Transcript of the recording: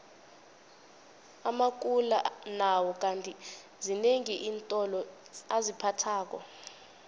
amakula nawo kandi zinengi iintolo aziphathako